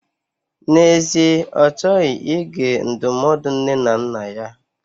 N'ezie, Ọ chọghị ige ndụmọdụ nne na nna ya.